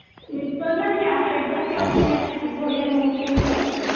internal class exam class test ଭଳିଆ ନଉଛନ୍ତି ଆଉ କଣ